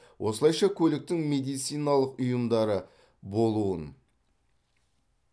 осылайша көліктің медициналық ұйымдары болуын